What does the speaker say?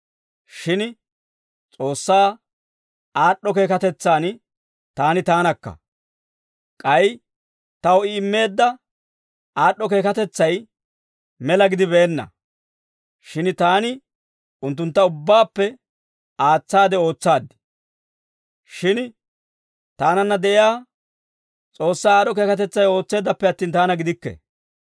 Shin S'oossaa aad'd'o keekatetsaan taani taanakka. K'ay taw I immeedda aad'd'o keekatetsay mela gidibeenna; shin taani unttuntta ubbaappe aatsaade ootsaad. Shin taananna de'iyaa S'oossaa aad'd'o keekatetsay ootseeddappe attin, taana gidikke.